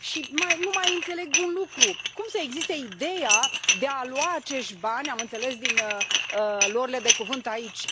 Și nu mai înțeleg un lucru cum să existe ideea de a lua acești bani, am înțeles din luările de cuvânt de aici?